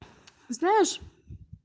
знаешь